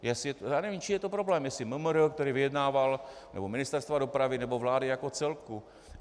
Já nevím, čí je to problém, jestli MMR, které vyjednávalo, či Ministerstva dopravy nebo vlády jako celku.